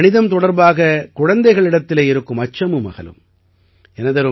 மேலும் கணிதம் தொடர்பாக குழந்தைகளிடத்திலே இருக்கும் அச்சமும் அகலும்